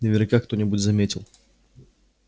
наверняка кто-нибудь заметил